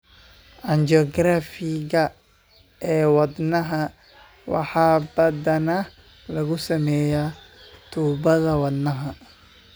Angiography-ka ee wadnaha waxaa badanaa lagu sameeyaa tuubada wadnaha.